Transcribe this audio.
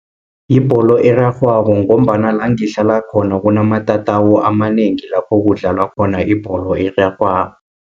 Yibholo erarhwako, ngombana langihlala khona kunamatatawu amanengi, lapho kudlalwa khona ibholo erarhwako.